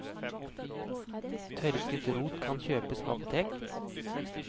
Tørket rot kan kjøpes på apotek.